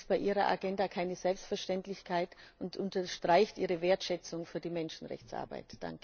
Das ist bei ihrer Agenda keine Selbstverständlichkeit und unterstreicht ihre Wertschätzung für die Menschenrechtsarbeit.